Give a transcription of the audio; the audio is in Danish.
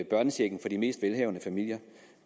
børnechecken fra de mest velhavende familier